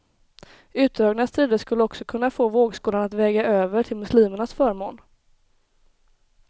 Utdragna strider skulle också kunna få vågskålen att väga över till muslimernas förmån.